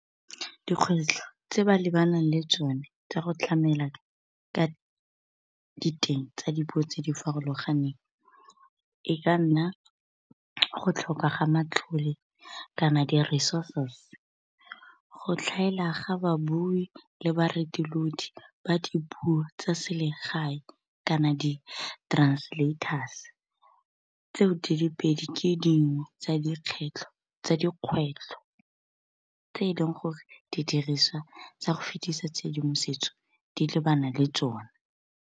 dikgwetlho tse ba lebanang le tsone tsa go tlamela ka diteng tsa dipuo tse di farologaneng e ka nna go tlhoka ga matlhole, kana di-resources. Go tlhaela ga babui le ba dipuo tsa selegae kana di-translators, tseo di le pedi ke dingwe tsa dikgwetlho tse e leng gore didiriswa tsa go fetisa tshedimosetso di lebana le tsone.